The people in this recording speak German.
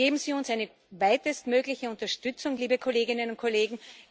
Also geben Sie uns eine weitestmögliche Unterstützung, liebe Kolleginnen und Kollegen!